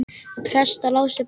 Prestar lásu bækur.